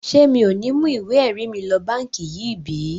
Ṣé mi ò ní mú ìwé ẹ̀rí mi lọ báǹkì yìí bí?